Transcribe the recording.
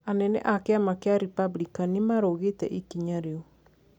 Anene a kiama kia Republican nimarong'ite ikinya riu.